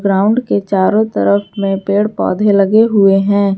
Ground के चारों तरफ में पेड़ पौधे लगे हुए हैं।